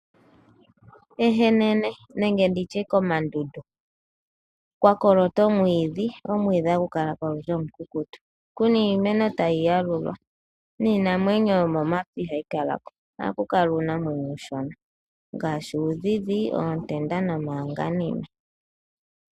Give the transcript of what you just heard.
Ehenene nenge komandundu kwa kolota omwiidhi. Omwiidhi hagu kala ko uunene omukukutu kuna iimeno tayi yalulwa niinamwenyo yomomapya ihayi kalako. Ohaku kala uunamwenyo uushona ngaashi uundhidhi nomahanganime.